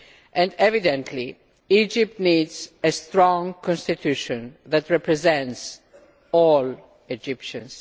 And evidently, Egypt needs a strong Constitution that represents all Egyptians.